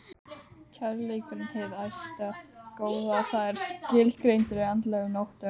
Kærleikurinn- hið æðsta góða- var skilgreindur á andlegum nótum.